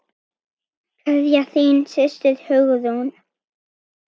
Kveðja, þín systir, Hugrún.